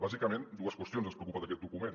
bàsicament dues qüestions ens preocupen d’aquest document